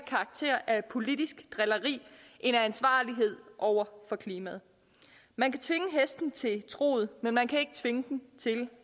karakter af politisk drilleri end af ansvarlighed over for klimaet man kan tvinge hesten til truget men man kan ikke tvinge den til